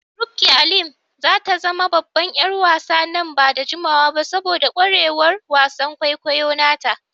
Rukky Alim za ta zama babban ƴar wasa nan ba da jimawa ba saboda kwarewar wasan kwaikwayo nata.